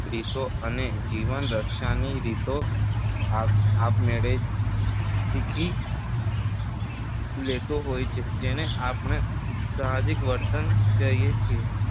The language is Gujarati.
રીતો અને જીવનરક્ષાની રીતો આપ‍‍‍‍‍ આપમેળે જ શીખી લેતું હોય છે જેને આપણે સાહજિક વર્તન કહીએ છીએ